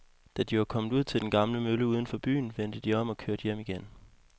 Da de var kommet ud til den gamle mølle uden for byen, vendte de om og kørte hjem igen.